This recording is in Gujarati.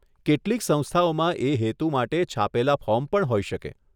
કેટલીક સંસ્થાઓમાં એ હેતુ માટે છાપેલા ફોર્મ પણ હોઈ શકે.